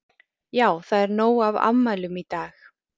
Já það er nóg af afmælum í dag.